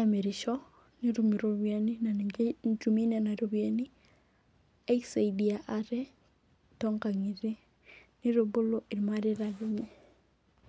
amirisho netum iropiani naa ninche itumiae nena ropiani aii saidia aate too nkang'itie. Nitubulu irmareta kumok.